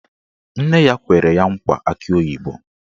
Nne ya kwere ya nkwa akị oyibo